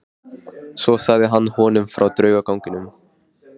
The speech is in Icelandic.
Svo sagði hann honum frá draugaganginum.